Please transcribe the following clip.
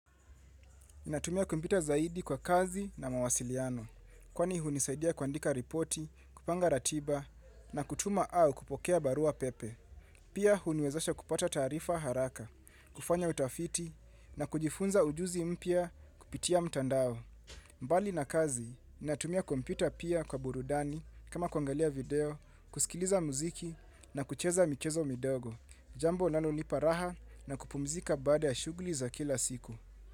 Natumia kompyuta kwa kazi na mawasiliano, kwani hunisaidia kwandika ripoti, kupanga ratiba na kutuma au kupokea barua pepe. Pia huniwezasha kupata taarifa haraka, kufanya utafiti na kujifunza ujuzi mpya kupitia mtandao. Mbali na kazi, natumia kompyuta pia kwa burudani kama kuangalia video, kusikiliza muziki na kucheza michezo midogo, jambo linalonipa raha na kupumzika baada shuguli za kila siku.